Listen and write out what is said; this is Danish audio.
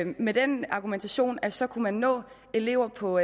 med den argumentation at så kunne man nå eleverne på